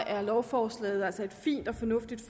er lovforslaget altså et fint og fornuftigt